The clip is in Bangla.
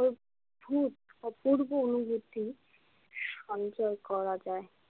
অদ্ভুত অপূর্ব অনুভূতি সঞ্চয় করা যায়।